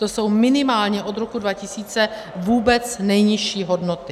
To jsou minimálně od roku 2000 vůbec nejnižší hodnoty.